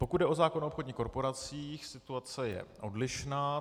Pokud jde o zákon o obchodních korporacích, situace je odlišná.